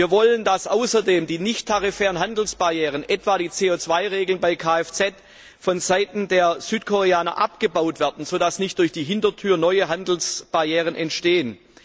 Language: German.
Wir wollen, dass außerdem die nichttarifären Handelsbarrieren, etwa die CO 2 Regeln bei Kfz, von Seiten der Südkoreaner abgebaut werden, so dass nicht durch die Hintertür neue Handelsbarrieren entstehen.